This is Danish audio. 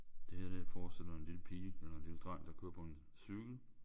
Det her det forestiller en lille pige eller en lille dreng der kører på en cykel